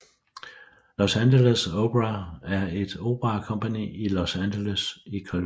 Los Angeles Opera er et operakompagni i Los Angeles i Californien